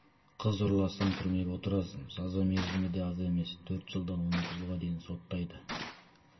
қыз ұрласаң түрмеге отырасың жаза мерзімі де аз емес төрт жылдан он екі жылға дейін соттайды